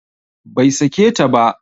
Bai sake ta ba